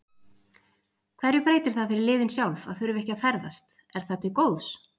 Hverju breytir það fyrir liðin sjálf að þurfa ekki að ferðast, er það til góðs?